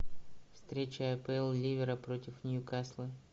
встреча апл ливера против ньюкасла